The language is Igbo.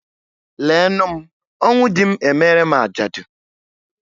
Lee nụ m, ọnwụ dị m emere m ajadu